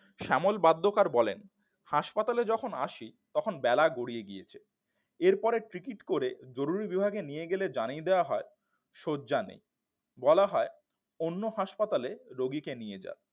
শ্যামল বাদ্যকর বলেন হাসপাতালে যখন আসি তখন বেলা গড়িয়ে গিয়েছিল এরপরে ticket করে জরুরী বিভাগে নিয়ে গেলে জানিয়ে দেওয়া হয় শয্যা নেই বলা হয় অন্য হাসপাতালে রোগীকে নিয়ে যান